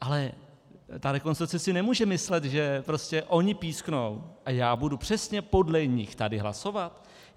Ale ta Rekonstrukce si nemůže myslet, že prostě oni písknou a já budu přesně podle nich tady hlasovat.